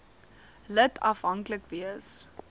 lid afhanklik wees